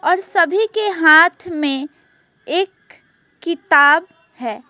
सभी के हाथ में एक किताब है।